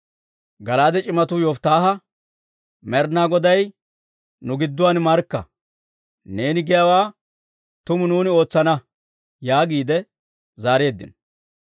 Gala'aade c'imatuu Yofittaaha, «Med'inaa Goday nu gidduwaan markka! Neeni giyaawaa tumu nuuni ootsana» yaagiide zaareeddino.